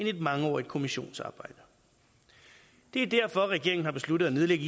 et mangeårigt kommissionsarbejde det er derfor regeringen har besluttet at nedlægge